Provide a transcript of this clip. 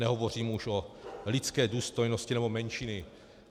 Nehovořím už o lidské důstojnosti nebo menšinách.